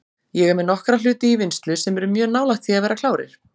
Ég er með nokkra hluti í vinnslu sem eru mjög nálægt því að vera klárir.